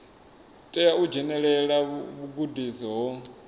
tea u dzhenelela vhugudisi ho